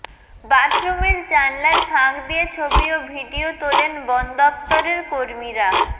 বাথরুমের জানলার ফাঁক দিয়ে ছবি ও ভিডিয়ো তোলেন বনদপ্তরের কর্মীরা